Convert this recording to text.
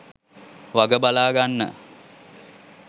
වග බලාගන්න.